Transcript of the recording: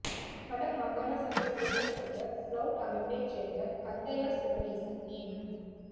வட மாகாணசபை உறுப்பினராக புளொட் அமைப்பைச் சேர்ந்த கந்தையா சிவனேசன் நியமனம்